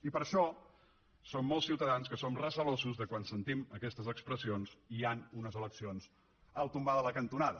i per això som molts ciutadans que som recelosos quan sentim aquestes expressions i hi ha unes eleccions al tombar de la cantonada